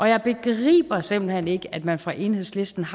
jeg begriber simpelt hen ikke at man fra enhedslistens